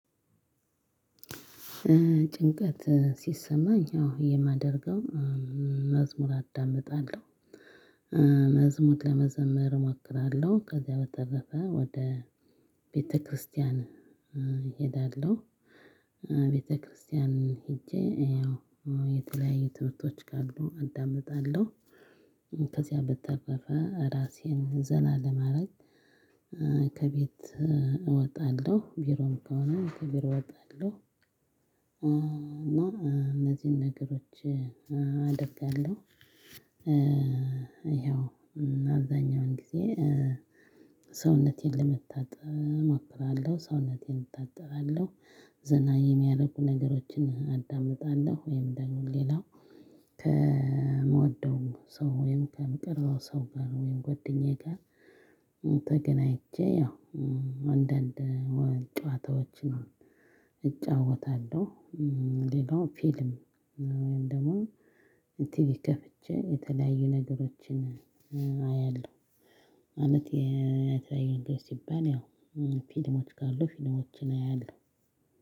ጭንቀት ሲሰማኝ አዎ የማደርገው መዝሙር አዳምጣለሁ። መዝሙር ለመዘምር እሞክራለሁ ከዚያ በተረፈ ወደ ቤተክርስቲያን እሄዳለሁ። ቤተክርስቲያንም ሄጄ ያው የተለያዩ ትምህርቶች ካሉ አዳምጣለሁ። ከዚያ በተጠረፈ እራሴን ዘና ለማድረግ ከቤት እወጣለሁ። ቢሮም ከሆነ ከቢሮ እወጣለሁ እና እነዚህን ነገሮች አደርጋለሁ። ይኸው አብዛኛውን ጊዜ ሰውነቴን ለመታጠብ እሞክራለሁ ሰውነቴን እታጠባለሁ ዘና የሚያደርጉ ነገሮችን አዳምጣለሁ። ወይም ደግሞ ሌላው ከምወደው ሰው ወይም ከምቀርበው ሰው ጋር ወይም ጓደኛዬ ጋር። ተገናኝቼ ያው አንዳንድ ጨዋታዎችን እጫወታለሁ። ሌላው ፊልም ወይም ደግሞ ቲቪ ከፍቼ የተለያዩ ነገሮችን አያለሁ። ማለት የተለያዩ ነገሮች ሲባል ያው ፊልሞች ካሉ ፊልሞችን አያለሁ።